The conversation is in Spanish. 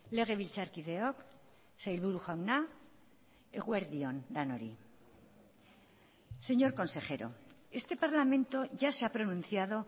legebiltzarkideok sailburu jauna eguerdi on denoi señor consejero este parlamento ya se ha pronunciado